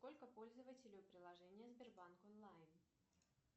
сколько пользователей у приложения сбербанк онлайн